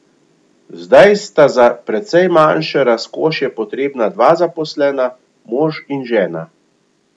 Zdaj sta za precej manjše razkošje potrebna dva zaposlena, mož in žena.